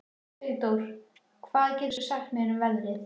Sigdór, hvað geturðu sagt mér um veðrið?